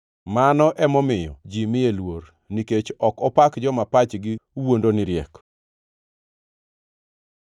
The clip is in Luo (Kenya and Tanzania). Mano emomiyo ji miye luor, nikech ok opak joma pachgi wuondo ni riek.”